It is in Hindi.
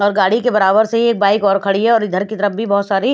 और गाड़ी के बराबर से ही एक बाइक और खड़ी है और इधर की तरफ भी बहोत सारी --